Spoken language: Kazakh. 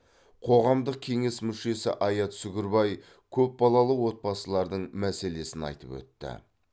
қоғамдық кеңес мүшесі аят сүгірбай көпбалалы отбасылардың мәселесін айтып өтті